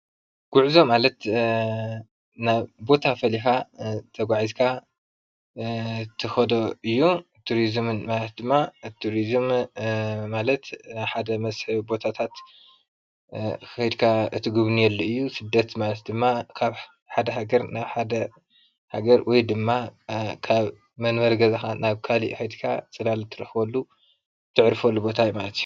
ጉዕዞ ማለት ናብ ቦታ ፈሊኻ እትኸደሉ እዩ ።ቱሪዝም ማለት ኸዓ ፅቡቅ ቦታ እትጉብንየሉ እዩ። ሰደት ማለት ኸዓ ካብ ሓደ ሃገር ናብ ኻሊእ እትኸደሉ እዪ።